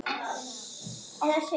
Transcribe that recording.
Og að krókna úr kulda.